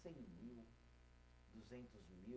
Cem mil, duzentos mil